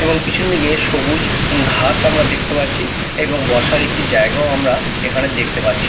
এবং পিছন দিকে সবুজ ঘাস আমরা দেখতে পাচ্ছি এবং বসার একটি জায়গাও আমরা এখানে দেখতে পাচ্ছি।